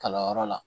Kalanyɔrɔ la